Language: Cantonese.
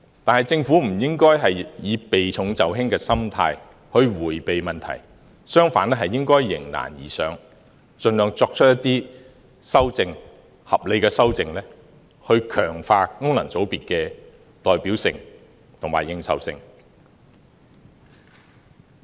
但是，政府不應該以避重就輕的心態迴避問題，相反應該迎難而上，盡量作出一些合理的修正，強化功能界別的代表性和認受性。